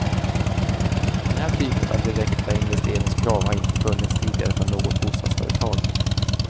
Den här typen av direkta investeringskrav har inte funnits tidigare från något bostadsföretag.